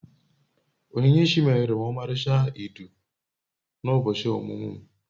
Onyinyechi meere m omalicha idu na ubochi omumu'm